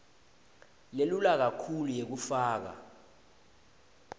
lelula kakhulu yekufaka